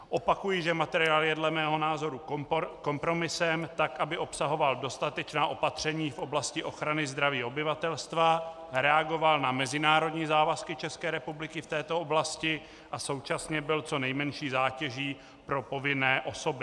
Opakuji, že materiál je dle mého názoru kompromisem, tak aby obsahoval dostatečná opatření v oblasti ochrany zdraví obyvatelstva, reagoval na mezinárodní závazky České republiky v této oblasti a současně byl co nejmenší zátěží pro povinné osoby.